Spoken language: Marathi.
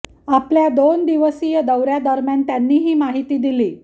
आपल्या दोन दिवसीय दौऱ्या दरम्यान त्यांनी ही माहिती दिली